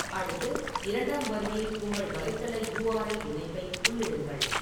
அடுத்து, இரண்டாம் வரியில் உங்கள் வலைத்தள யூஆர்எல் இணைப்பை உள்ளிடுங்கள்.